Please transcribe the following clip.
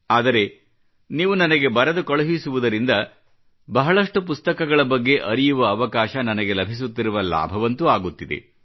ಆದರೆ ನೀವು ನನಗೆ ಬರೆದು ಕಳುಹಿಸುವುದರಿಂದ ಬಹಳಷ್ಟು ಪುಸ್ತಕಗಳ ಬಗ್ಗೆ ಅರಿಯುವ ಅವಕಾಶ ನನಗೆ ಲಭಿಸುತ್ತಿರುವ ಲಾಭವಂತೂ ಆಗುತ್ತಿದೆ